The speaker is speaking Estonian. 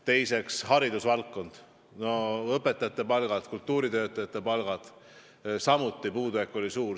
Teiseks, haridusvaldkond, õpetajate palgad, ka kultuuritöötajate palgad – samuti oli puudujääk suur.